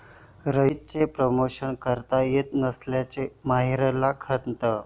रईस'चं promotion करता येत नसल्याची माहिराला खंत